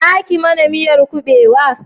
Za ki mana miyan kubewa?